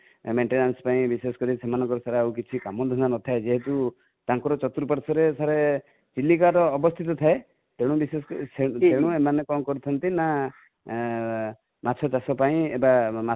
maintenance ପାଇଁ ବିଶେଷ କରି, ସେମାନଙ୍କର ଆଉ କିଛି କାମଧନ୍ଦା ନଥାଏ ଯେହେତୁ | ତାଙ୍କର ଚତୁର୍ପାର୍ଶ୍ୱ ରେ sir ଚିଲିକା ର ଅବସ୍ତିତ ଥାଏ ତେଣୁ ବିଶେଷକରି, ତେଣୁ ଏମାନେ କଣ କରି ଥାନ୍ତି ନା ମାଛ ଚାଷ ପାଇଁ ବା